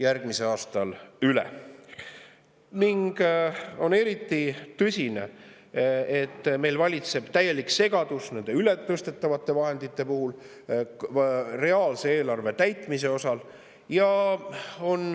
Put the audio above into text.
Eriti tõsine, et meil valitseb täielik segadus nende ületõstetavate vahenditega eelarve reaalse täitmise mõttes.